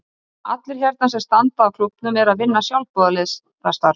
Allir hérna sem standa að klúbbnum eru að vinna sjálfboðaliðastarf.